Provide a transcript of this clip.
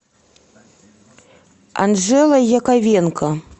анжела яковенко